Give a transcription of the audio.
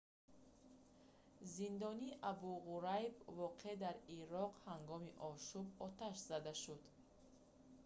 зиндони абу ғурайб воқеъ дар ироқ ҳангоми ошӯб оташ зада шуд